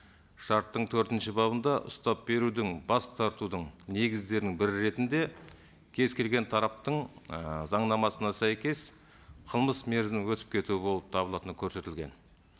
шарттың төртінші бабында ұстап беруден бас тартудың негіздерінің бірі ретінде кез келген тараптың ы заңнамасына сәйкес қылмыс мерзімі өтіп кетуі болып табылатыны көрсетілген